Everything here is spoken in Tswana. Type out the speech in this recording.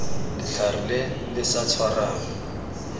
letlhare le le sa tshwarang